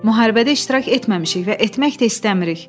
Müharibədə iştirak etməmişik və etmək də istəmirik.